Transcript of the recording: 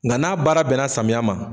Nga n'a baara bɛnna samiya ma